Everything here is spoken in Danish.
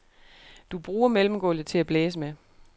Du bruger mellemgulvet til at blæse med.